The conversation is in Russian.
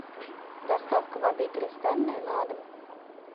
доставка воды кристальная на дом